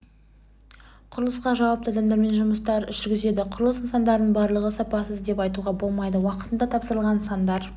құрылысқа жауапты адамдармен жұмыстар жүргізеді құрылыс нысандарының барлығы сапасыз деп айтуға болмайды уақытында тапсырылған нысандар